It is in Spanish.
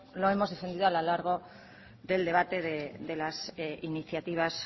lo hemos defendido a lo largo del debate de las iniciativas